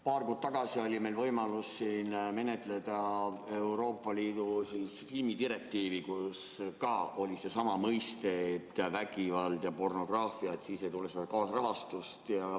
Paar kuud tagasi oli meil võimalus siin menetleda Euroopa Liidu filmidirektiivi, milles oli samuti kasutatud mõisteid "vägivald" ja "pornograafia", et nende korral kaasrahastust ei tule.